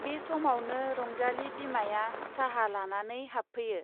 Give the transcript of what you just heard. बे समावनो रंजाली बिमाया चाहा लानानै हाबफैयो।